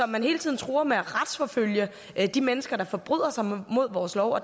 man hele tiden truer med at retsforfølge de mennesker der forbryder sig mod vores lov